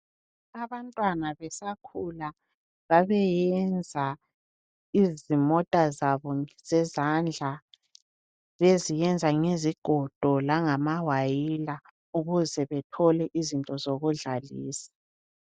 Abantwana besakhula babeyenza izimota zabo zezandla beziyenza ngezigodo langamawayila ukuze bethole izinto zokudlalisa.